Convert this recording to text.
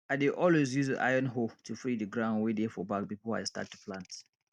i dey always use iron hoe to free di ground wey dey for back before i start to plant